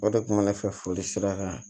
O de kun mɛ ne fɛ foli sira kan